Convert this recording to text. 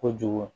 Kojugu